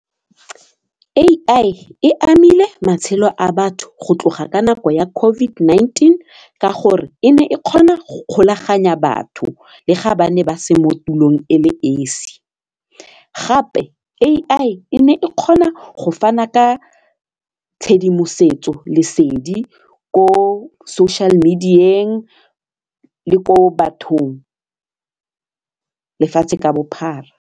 AI e amile matshelo a batho go tloga ka nako ya COVID-19 ka gore e ne e kgona go kgolaganya batho le ga ba ne ba se mo tulong e le esi gape AI e ne e kgona go fana ka tshedimosetso lesedi ko social media-eng le ko bathong lefatshe ka bophara.